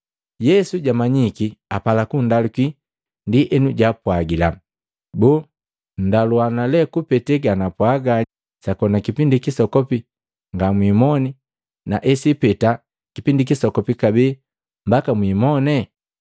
Yesu jamanyiki apala kundaluki, ndienu jaapwagila, “Boo ndaluana le kupete ganapwaaga, ‘Sakona kipindi kisokopi ngamwimone, na esipeta kipindi kisokopi kabee mbaka mwimone?’ ”